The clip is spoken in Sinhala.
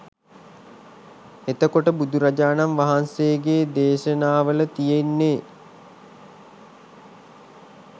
එතකොට බුදුරජාණන් වහන්සේගේ දේශනාවල තියෙන්නේ